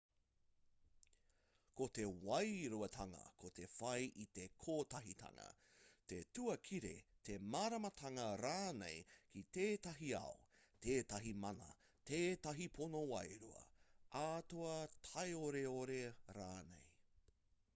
ko te wairuatanga ko te whai i te kotahitanga te tuakiri te māramatanga rānei ki tētahi ao tētahi mana tētahi pono wairua atua taioreore rānei